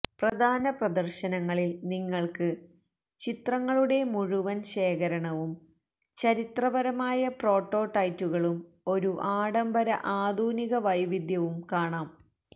പ്രധാന പ്രദർശനങ്ങളിൽ നിങ്ങൾക്ക് ചിത്രങ്ങളുടെ മുഴുവൻ ശേഖരണവും ചരിത്രപരമായ പ്രോട്ടോടൈറ്റുകളും ഒരു ആഢംബര ആധുനിക വൈവിധ്യവും കാണാം